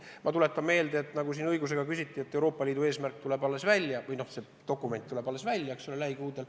Ma tuletan meelde – selle kohta enne ka küsiti –, et Euroopa Liidu dokument tuleb välja lähikuudel.